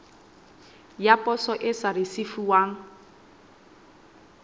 ya poso e sa risefuwang